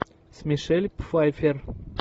с мишель пфайффер